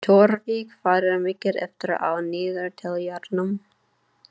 Tjörfi, hvað er mikið eftir af niðurteljaranum?